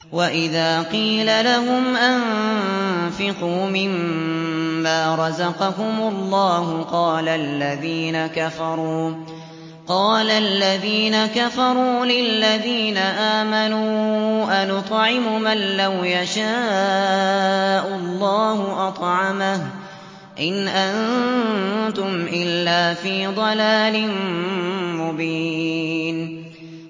وَإِذَا قِيلَ لَهُمْ أَنفِقُوا مِمَّا رَزَقَكُمُ اللَّهُ قَالَ الَّذِينَ كَفَرُوا لِلَّذِينَ آمَنُوا أَنُطْعِمُ مَن لَّوْ يَشَاءُ اللَّهُ أَطْعَمَهُ إِنْ أَنتُمْ إِلَّا فِي ضَلَالٍ مُّبِينٍ